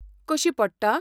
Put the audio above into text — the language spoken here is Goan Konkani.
कशी पडटा?